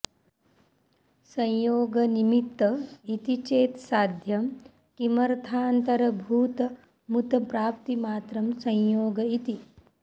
संयोगनिमित्त इति चेत् साध्यं किमर्थान्तरभूतमुत प्राप्तिमात्रं संयोग इति